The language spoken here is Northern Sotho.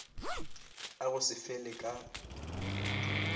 a go se fele ka